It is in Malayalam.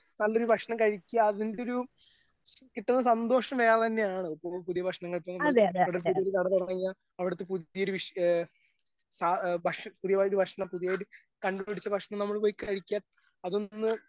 നല്ലൊരു ഭക്ഷണം കഴിക്കാ അതിന്റൊരു കിട്ട്ണ സന്തോഷം വേറെ തന്നെയാണ് ഇപ്പൊ പുതിയ ഭക്ഷങ്ങളിപ്പൊ നമ്മൾ ഇവിടൊരു പുതിയ കട തൊറന്ന് കഴിഞ്ഞാ അവിടുത്തെ പുതിയൊരു ഏ സാ ഏ പുതിതായൊരു ഭക്ഷണം പുതിയത് കണ്ട് പിടിച്ച ഭക്ഷണം നമ്മൾ പോയി കഴിക്കാ അതൊന്ന്.